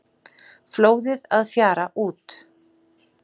Flóðið að fjara út